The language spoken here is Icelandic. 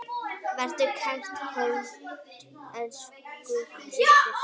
Vertu kært kvödd, elsku systir.